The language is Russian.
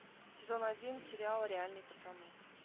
сезон один сериал реальные пацаны